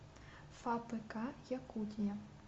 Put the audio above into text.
фапк якутия